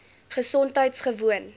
gesondheidgewoon